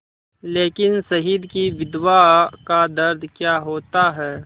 लेकिन शहीद की विधवा का दर्द क्या होता है